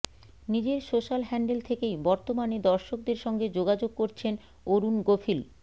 নিজের social handle থেকেই বর্তমানে দর্শকদের সঙ্গে যোগাযোগ করচেন অরুণ গোভিল